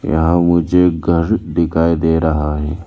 यहाँ मुझे घर दिखाई दे रहा है।